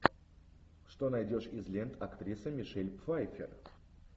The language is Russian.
что найдешь из лент актрисы мишель пфайффер